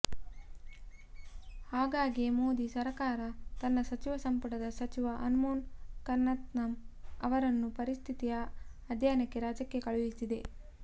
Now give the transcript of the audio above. ಹಾಗಾಗಿಯೇ ಮೋದಿ ಸರಕಾರ ತನ್ನ ಸಚಿವ ಸಂಪುಟದ ಸಚಿವ ಅಲ್ಪೋನ್ಸ್ ಕನ್ನತನಮ್ ಅವರನ್ನು ಪರಿಸ್ಥಿತಿಯ ಅಧ್ಯಯನಕ್ಕೆ ರಾಜ್ಯಕ್ಕೆ ಕಳುಹಿಸಿದೆ